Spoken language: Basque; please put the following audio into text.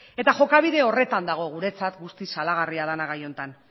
jokabide horretan dago guretzat guztiz salagarria dena gai honetan